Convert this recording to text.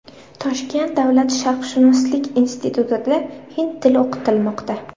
Toshkent davlat sharqshunoslik institutida hind tili o‘qitilmoqda.